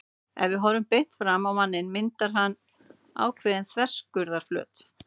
Ef við horfum beint framan á manninn myndar hann ákveðinn þverskurðarflöt.